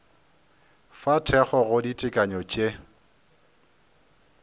fa thekgo go ditekanyo tše